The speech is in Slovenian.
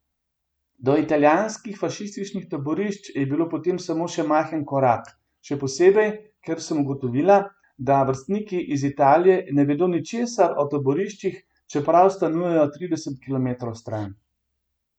Do italijanskih fašističnih taborišč je bil potem samo še majhen korak, še posebej, ker sem ugotovila, da vrstniki iz Italije ne vedo ničesar o taboriščih, čeprav stanujejo trideset kilometrov stran.